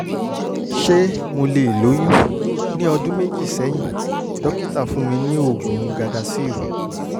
ṣé mo lè lóyún? ní ọdún méjì sẹ́yìn dókítà fún mi ní oògùn gardasil